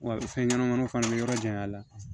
Wa fɛn ɲɛnɛmaniw fana be yɔrɔ jan la